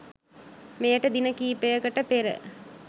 මෙයට දින කීපයකට පෙර